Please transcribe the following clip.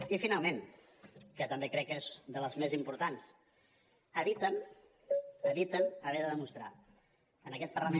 i finalment que també crec que és de les més importants eviten haver de demostrar en aquest parlament